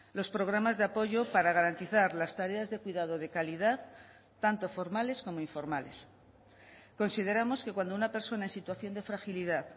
los programas de apoyo para garantizar las tareas de cuidado de calidad tanto formales como informales consideramos que cuando una persona en situación de fragilidad